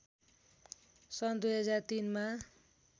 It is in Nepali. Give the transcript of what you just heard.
सन् २००३ मा